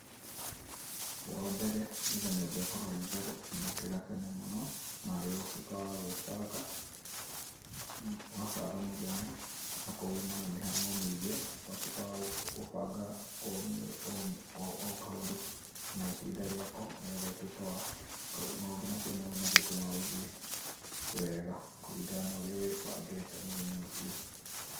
Wa mbere, nĩgetha nyũmba ĩkorwo ĩĩ theru, nĩ ũkĩre tene mũno, na rĩo ũtuĩke wa kwĩbanga, ũgabanga mũthenya. Akorwo uuma na mĩhang'o mĩingĩ, ũtuĩke wa kũbanga o kaũndũ na ihinda rĩa ko nĩ getha maũndũ macio mothe matuĩke magũthiĩ weega kũringana na ũrĩa wĩbangĩte mũthenya ũcio.